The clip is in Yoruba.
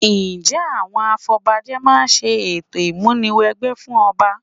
Ǹjẹ́ àwọn afọbajẹ máa ṣe ètò ìmúni wẹgbẹ́ fún ọba?